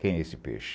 Quem é esse peixe?